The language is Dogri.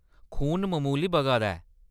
खून ममूली बगा दा ऐ।